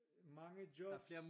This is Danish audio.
Mange jobs